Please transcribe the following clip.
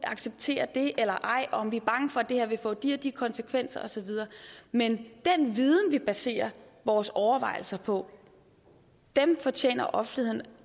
acceptere det eller ej og om vi var bange for at det her ville få de og de konsekvenser og så videre men den viden vi baserer vores overvejelser på fortjener offentligheden